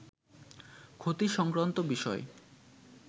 ক্ষতি-সংক্রান্ত বিষয়